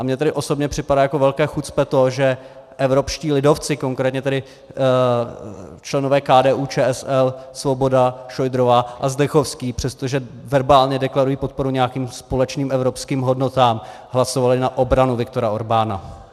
A mně tedy osobně připadá jako velké chucpe to, že evropští lidovci, konkrétně tedy členové KDU-ČSL Svoboda, Šojdrová a Zdechovský, přestože verbálně deklarují podporu nějakým společným evropským hodnotám, hlasovali na obranu Viktora Orbána.